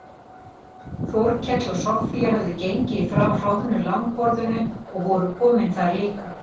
Þórkell og Soffía höfðu gengið frá hroðnu langborðinu og voru komin þar líka.